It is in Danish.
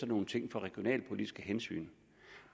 nogle ting for regionalpolitiske hensyn